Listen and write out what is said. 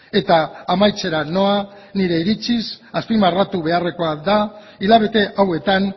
eta amaitzera noa nire iritziz azpimarratu beharrekoa da hilabete hauetan